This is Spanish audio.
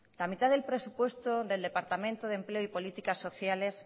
la mitad del presupuesto del departamento de empleo y políticas sociales